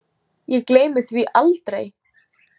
Ég gleymi því aldrei.